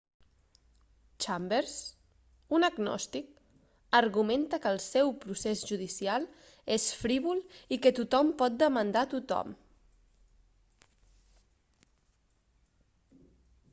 chambers un agnòstic argumenta que el seu procés judicial és frívol i que tothom pot demandar a tothom